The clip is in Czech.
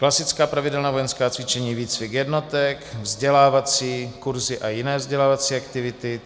Klasická - pravidelná vojenská cvičení, výcvik jednotek; vzdělávací - kurzy a jiné vzdělávací aktivity;